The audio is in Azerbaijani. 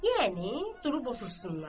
Yəni durub otursunlar.